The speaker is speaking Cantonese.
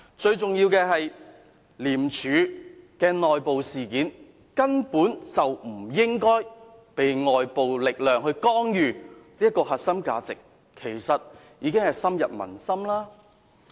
最重要的是，廉署的內部事件根本不應該被外界力量干預，這核心價值其實已經深入民心。